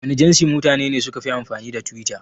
Wana jansi mutane ne sukafi amfani da twitter?